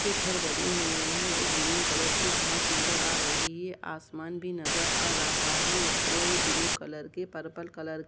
के घर बने हुए हैं और ग्रीन कलर की घांस नजर आ रही है आसमान भी नजर आ रहा है और ब्लू कलर के पर्पल कलर --